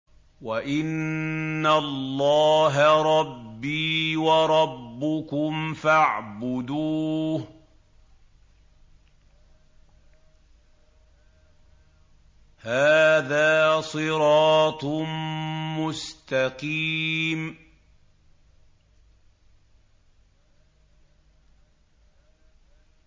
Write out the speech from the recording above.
وَإِنَّ اللَّهَ رَبِّي وَرَبُّكُمْ فَاعْبُدُوهُ ۚ هَٰذَا صِرَاطٌ مُّسْتَقِيمٌ